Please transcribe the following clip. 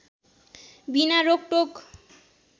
बिना रोकटोक